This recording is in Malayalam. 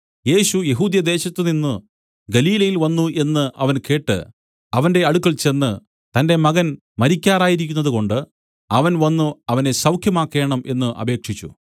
യേശു യെഹൂദ്യദേശത്തുനിന്നു ഗലീലയിൽ വന്നു എന്നു അവൻ കേട്ട് അവന്റെ അടുക്കൽ ചെന്ന് തന്റെ മകൻ മരിക്കാറായിരിക്കുന്നതുകൊണ്ട് അവൻ വന്നു അവനെ സൌഖ്യമാക്കേണം എന്നു അപേക്ഷിച്ചു